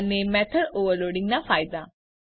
અને method overloading નાં ફાયદા